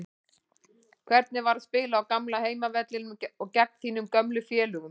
Hvernig var að spila á gamla heimavellinum og gegn þínum gömlu félögum?